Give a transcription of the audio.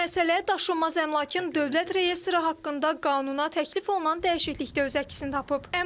Bu məsələ daşınmaz əmlakın dövlət reyestri haqqında qanuna təklif olunan dəyişiklikdə öz əksini tapıb.